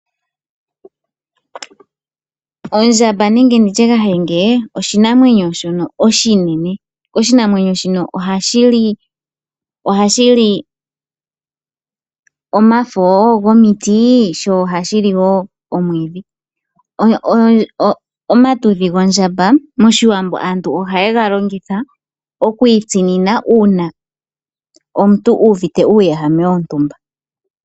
Ondjamba nenge kahenge oshinamwenyo shoka oshinene. Oshinamwenyo shino ohashi li omafo gomiti sho ohashi li wo omwiidhi. Epumba lyondjamba mOshiwambo ohali longithwa oku itsinina uuna omuntu uuvite uuwehame wontumba.